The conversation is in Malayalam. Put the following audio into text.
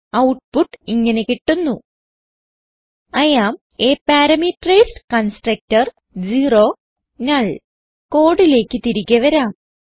ഔട്ട്പുട്ട് ഇങ്ങനെ ലഭിക്കുന്നു I am a parameterised constructor നുൾ കോഡിലേക്ക് തിരികെ വരാം